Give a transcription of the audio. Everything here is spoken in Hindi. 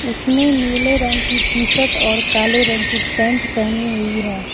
इसने नीले रंग की टी शर्ट और काले रंग की पैंट पहनी हुई है।